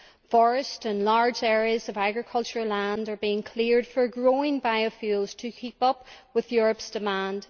Forests and large areas of agricultural land are being cleared for growing biofuels to keep up with Europe's demand.